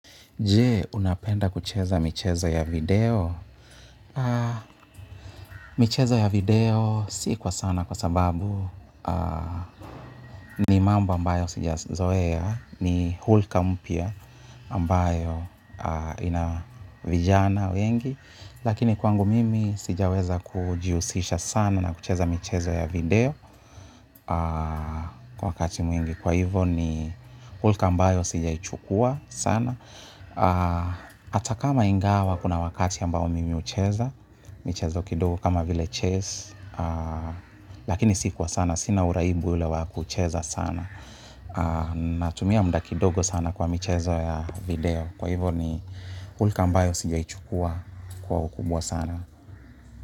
Je, unapenda kucheza michezo ya video? Michezo ya video si kwa sana kwa sababu ni mambo ambayo sijazoea ni hulka mpya ambayo ina vijana wengi. Lakini kwangu mimi sijaweza kujihusisha sana na kucheza michezo ya video kwa wakati mwingi kwa hivo ni hulka ambayo sijaichukua sana. Ata kama ingawa kuna wakati ambao mimi hucheza michezo kidogo kama vile chess. Lakini si kwa sana, sina uraibu ule wa kucheza sana. Natumia muda kidogo sana kwa michezo ya video. Kwa hivo ni hulka ambayo sijaichukua kwa ukubwa sana.